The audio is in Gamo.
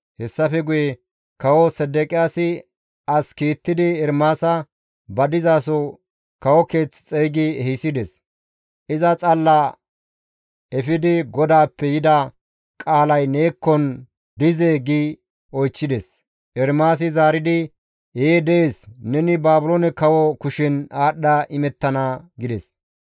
Hessafe guye kawo Sedeqiyaasi as kiittidi Ermaasa ba dizaso kawo keeth xeygi ehisides; iza xalla efidi, «GODAAPPE yida qaalay neekkon dizee?» gi oychchides. Ermaasi zaaridi, «Ee dees; neni Baabiloone kawo kushen aadhdha imettana» gides.